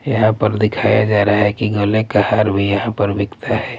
यहाँ पर दिखाया जा रहा हैं कि गले का हार भी यहाँ पर बिकता हैं ।